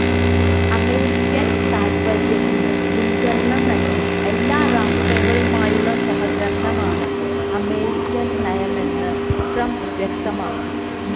American താത്പര്യത്തിന് മുന്ഗണന നല്കി എല്ലാ രാഷ്ട്രങ്ങളുമായുള്ള സഹകരണമാണ് അമേരിക്കന് നയമെന്നും ട്രംപ് വ്യക്തമാക്കി